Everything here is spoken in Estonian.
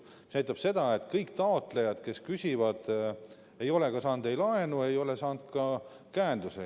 See näitab seda, et kõik taotlejad, kes on küsinud, ei ole saanud laenu ega ole saanud ka käendusi.